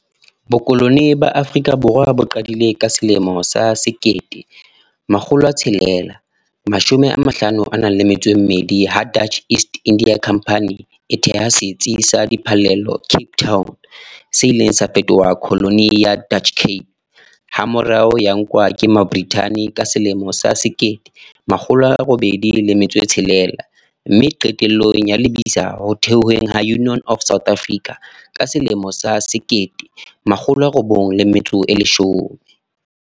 Bokolone ba Afrika Borwa bo qadile ka selemo sa sekete, makgolo a tshelela, mashome a mahlano a nang le metso e mmedi. Ha Dutch East India Company e theha setsi sa di phallelo Cape Town. Se ileng sa fetoha colony ya Dutch Cape. Ha morao ya nkwa ke ma ka selemo sa sekete, makgolo a robedi le metso e tshelela. Mme qetellong ya lebitla ho theoweng ha Union of South Africa. Ka selemo sa sekete makgolo a robong le metso e leshome.